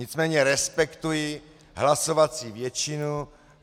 Nicméně respektuji hlasovací většinu.